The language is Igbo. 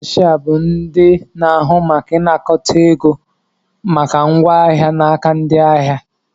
Ndị kashia bụ ndị na-ahụ maka ịnakọta ego maka ngwa ahịa n'aka ndị ahịa